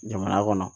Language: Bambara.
Jamana kɔnɔ